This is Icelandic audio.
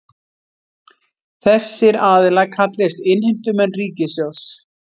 Þessir aðilar kallist innheimtumenn ríkissjóðs